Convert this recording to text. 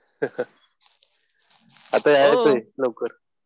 आता येतोय लवकर.